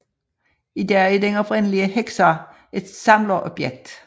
I dag er den oprindelige Hexar et samlerobjekt